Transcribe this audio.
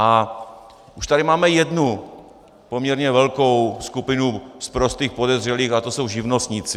A už tady máme jednu poměrně velkou skupinu sprostých podezřelých a to jsou živnostníci.